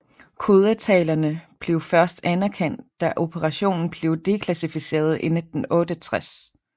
Kodetalerne blev først anerkendt da operationen blev deklassificeret i 1968